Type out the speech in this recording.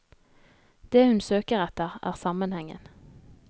Det hun søker etter, er sammenhengen.